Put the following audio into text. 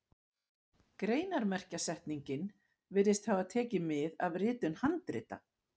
Greinarmerkjasetningin virðist hafa tekið mið af ritun handrita.